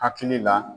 Hakili la